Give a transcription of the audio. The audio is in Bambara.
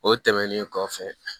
O tɛmɛnen kɔfɛ